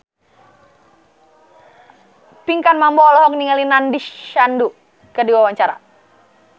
Pinkan Mambo olohok ningali Nandish Sandhu keur diwawancara